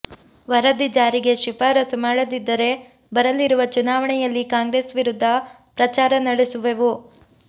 ವರದಿ ಜಾರಿಗೆ ಶಿಫಾರಸು ಮಾಡದಿದ್ದರೆ ಬರಲಿರುವ ಚುನಾವಣೆಯಲ್ಲಿ ಕಾಂಗ್ರೆಸ್ ವಿರುದ್ಧ ಪ್ರಚಾರ ನಡೆಸುವೆವು